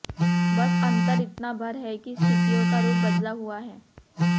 बस अंतर इतना भर है कि स्थितियों का रूप बदला हुआ है